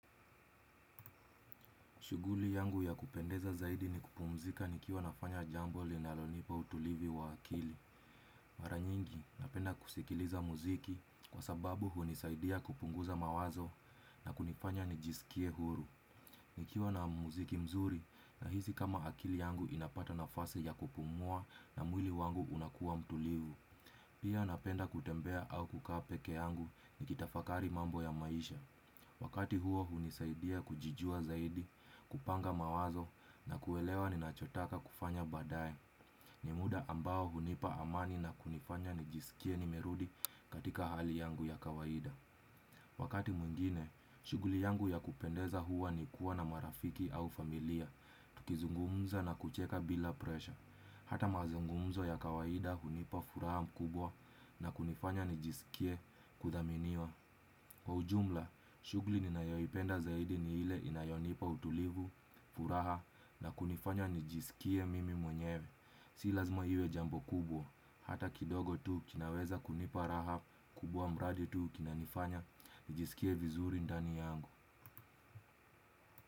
Shuguli yangu ya kupendeza zaidi ni kupumzika nikiwa nafanya jambo linalonipa utulivu wa akili. Mara nyingi napenda kusikiliza muziki kwa sababu hunisaidia kupunguza mawazo na kunifanya nijisikie huru. Nikiwa na muziki mzuri na hizi kama akili yangu inapata na fasi ya kupumua na mwili wangu unakuwa mtulivu. Pia napenda kutembea au kukaa peke yangu ni kitafakari mambo ya maisha. Wakati huo hunisaidia kujijua zaidi, kupanga mawazo na kuelewa ni nachotaka kufanya baadaye. Nimuda ambao hunipa amani na kunifanya nijisikie nimerudi katika hali yangu ya kawaida. Wakati mwingine, shuguli yangu ya kupendeza huwa ni kuwa na marafiki au familia, tukizungumza na kucheka bila presha. Hata mazungumzo ya kawaida hunipa furaha mkubwa na kunifanya nijisikie kuthaminiwa. Kwa ujumla, shugli ninayoipenda zaidi ni ile inayonipa utulivu, furaha na kunifanya nijisikie mimi mwenyewe. Si lazima iwe jambo kubwa, hata kidogo tu kinaweza kunipa raha, kubwa mradi tu kinanifanya, nijisikie vizuri ndani yangu.